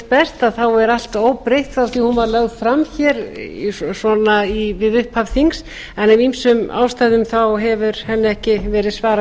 best er allt óbreytt frá því hún var lögð fram við upphaf þings en af ýmsum ástæðum hefur henni ekki verið svarað fyrr